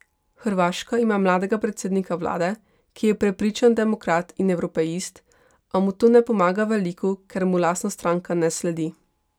Hrvaška ima mladega predsednika vlade, ki je prepričan demokrat in evropeist, a mu to ne pomaga veliko, ker mu lastna stranka ne sledi.